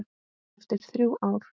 Eftir þrjú ár.